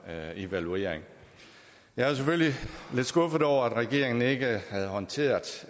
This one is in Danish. her evaluering jeg er selvfølgelig lidt skuffet over at regeringen ikke havde håndteret